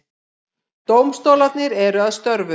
Dómstólarnir eru að störfum